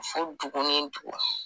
Fo dugu ni dugu.